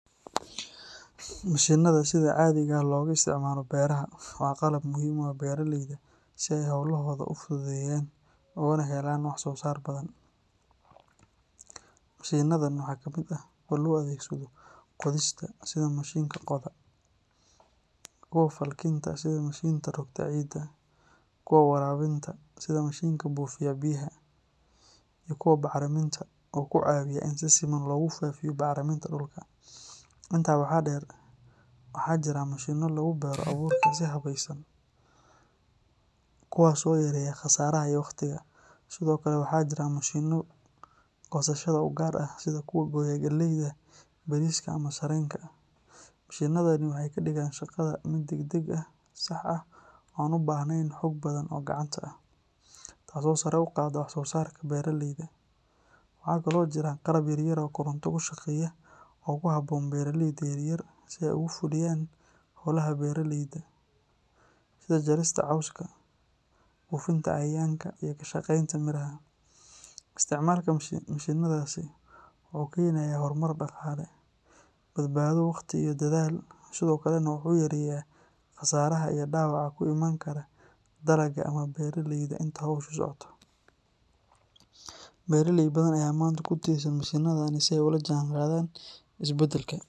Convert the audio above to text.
Mashiinnada sida caadiga ah looga isticmaalo beeraha waa qalab muhiim u ah beeraleyda si ay hawlahooda u fududeeyaan ugana helaan wax-soo-saar badan. Mashiinnadan waxaa ka mid ah kuwa loo adeegsado qodista sida mishiinka qoda, kuwa falkinta sida mishiinka rogta ciidda, kuwa waraabinta sida mishiinka buufiya biyaha, iyo kuwa bacriminta oo ku caawiya in si siman loogu faafiyo bacriminta dhulka. Intaa waxaa dheer, waxaa jira mashiinno lagu beero abuurka si habaysan, kuwaas oo yareeya khasaaraha iyo waqtiga, sidoo kale waxaa jira mashiinno goosashada u gaar ah sida kuwa gooya galleyda, bariiska, ama sarreenka. Mashiinnadani waxay ka dhigaan shaqada mid degdeg ah, sax ah oo aan u baahnayn xoog badan oo gacanta ah, taasoo sare u qaadda wax-soo-saarka beeraleyda. Waxa kale oo jira qalab yar yar oo koronto ku shaqeeya oo ku habboon beeraleyda yaryar si ay ugu fuliyaan hawlaha beeraleyda sida jarista cawska, buufinta cayayaanka, iyo ka shaqaynta miraha. Isticmaalka mashiinnadaasi wuxuu keenayaa horumar dhaqaale, badbaado wakhti iyo dadaal, sidoo kalena wuxuu yareeyaa khasaaraha iyo dhaawaca ku iman kara dalagga ama beeraleyda inta hawshu socoto. Beeraley badan ayaa maanta ku tiirsan mashiinnadan si ay ula jaanqaadaan isbeddelka.